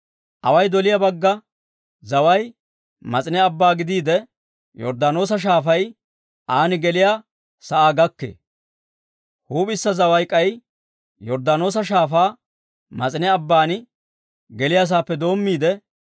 Away doliyaa bagga zaway Mas'ine Abbaa gidiide, Yorddaanoosa Shaafay an geliyaa sa'aa gakkee. Huup'issa zaway k'ay Yorddaanoosa Shaafaa Mas'ine Abban geliyaa saappe doommiide,